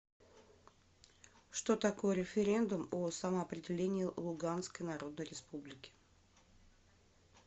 что такое референдум о самоопределении луганской народной республики